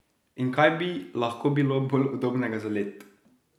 In kaj bi lahko bilo bolj udobnega za let?